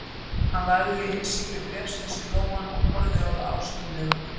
Hann lagði innsigli bréfsins í lófann og horfði á það ástúðlega.